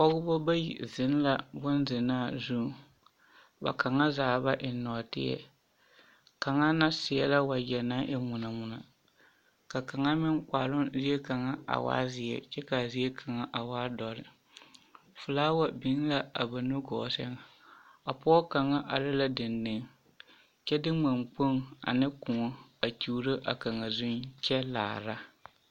Pɔgebɔ bayi zeŋ la bonzenaa zu, ba kaŋa zaa bata eŋ nɔɔteɛ, kaŋa na seɛ la wagyɛ naŋ e ŋmonɔ ŋmonɔ ka kaŋa meŋ kparoŋ zie kaŋa a waa zeɛ kyɛ ka a zie kaŋa a waa dɔre, filaawa biŋ la a ba nu gɔɔ seŋ, a pɔge kaŋa are la dendeŋe kyɛ de ŋmaŋkpoŋ ane kõɔ a kyuuro a kaŋa zuŋ kyɛ laara.